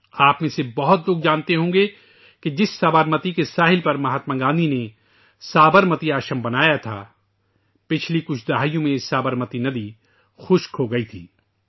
آپ میں سے بہت سے لوگ جانتے ہوں گے کہ جس سابرمتی ندی کے کنارے مہاتما گاندھی نے سابرمتی آشرم بنایا تھا وہ گزشتہ چند دہائیوں میں یہ سابرمتی ندی خشک ہوچکی تھی